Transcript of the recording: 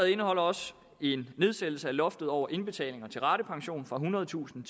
indeholder også en nedsættelse af loftet over indbetalinger til ratepensioner fra ethundredetusind